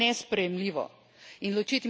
To je seveda nesprejemljivo.